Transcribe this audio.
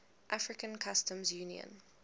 african customs union